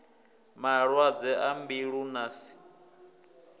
malwadze a mbilu na si